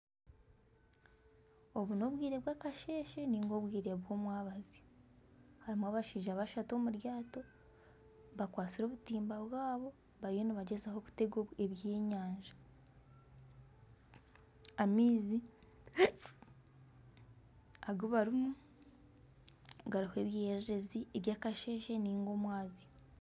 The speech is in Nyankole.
Obu n'obwire bwakasheshe ninga obwire bw'omwabazyo harimu abashaija bashatu omu ryato bakwatsire obutimba bwabo bariyo nibagyezaho kutega ebyenyanja .Amaizi agubarimu hariho ebyererezi by'akasheshe ninga omwabazyo.